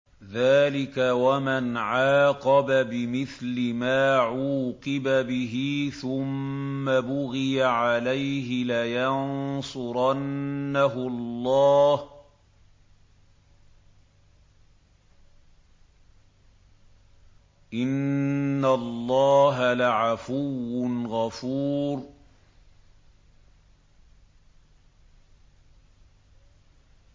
۞ ذَٰلِكَ وَمَنْ عَاقَبَ بِمِثْلِ مَا عُوقِبَ بِهِ ثُمَّ بُغِيَ عَلَيْهِ لَيَنصُرَنَّهُ اللَّهُ ۗ إِنَّ اللَّهَ لَعَفُوٌّ غَفُورٌ